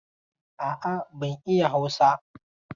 A'a, ban iya Hausa.